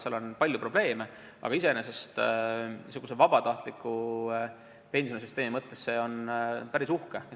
Seal on küll palju probleeme, aga iseenesest on see vabatahtliku pensioni kogumise süsteemi näitena päris uhke.